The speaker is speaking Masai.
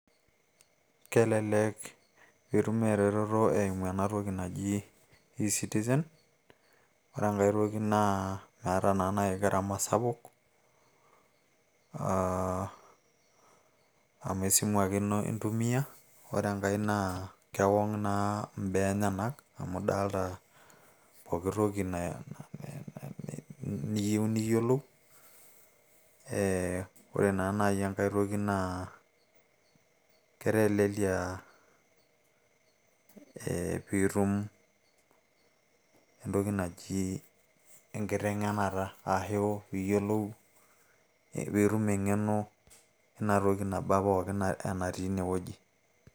kelelek itum e retoto eimu ena toki naji e citizen ore enkay toki naa meeta naa naji gharama sapuk e citizen oreenkay toki naa meeta naa naaji gharama sapuk amu esimu ake ino intumia ore enkay naa kewong naa imbaa aeyenak amu idalta poki toki naa niyieu niyiolou ee ore naa naaji enkay toki naa ketelelia ee piitum entoki naji enkiteng'enata aashu piiyiolou piitum eng'eno ina toki naba pookin natii inewueji.